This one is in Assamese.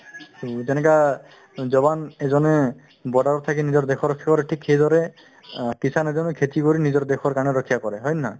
to তেনেকা jawan এজনে border ত থাকি নিজৰ দেশৰ সেইদৰে অ kisan এজনো খেতি কৰি নিজৰ দেশৰ কাৰণে ৰক্ষা কৰে হয় নে নহয়